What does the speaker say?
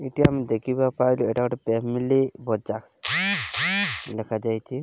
ଏଠି ଆମେ ଦେଖିବା ପାଇଲେ ଏଟା ଗୋଟେ ପ୍ୟାମିଲି ଲେଖାଯାଇଛି।